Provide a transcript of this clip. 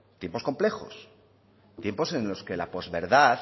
tiempos complejos tiempos en los que las posverdad